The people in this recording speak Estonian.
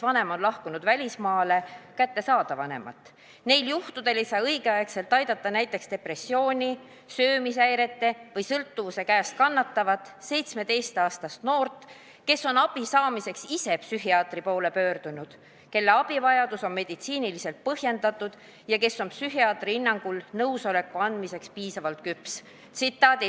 Neil juhtudel ei saa õigeaegselt aidata näiteks depressiooni, söömishäire või sõltuvuse käes kannatavat 17-aastast noort, kes on abi saamiseks ise psühhiaatri poole pöördunud, kelle abivajadus on meditsiiniliselt põhjendatud ja kes on psühhiaatri hinnangul nõusoleku andmiseks piisavalt küps.